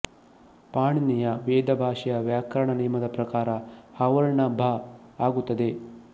ಪಾಣಿನಿಯ ವೇದ ಭಾಷೆಯ ವ್ಯಾಕರಣ ನಿಯಮದ ಪ್ರಕಾರ ಹವರ್ಣ ಭ ಆಗುತ್ತದೆ